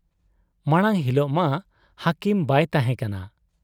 ᱢᱟᱬᱟᱝ ᱦᱤᱞᱚᱜ ᱢᱟ ᱦᱟᱹᱠᱤᱢ ᱵᱟᱭ ᱛᱟᱦᱮᱸ ᱠᱟᱱᱟ ᱾